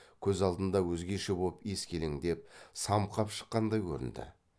көз алдында өзгеше боп ескелеңдеп самқап шыққандай көрінді